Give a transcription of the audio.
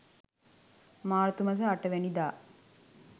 මාර්තු මස 08 වැනිදා